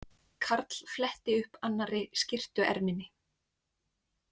Karl fletti upp annarri skyrtuerminni.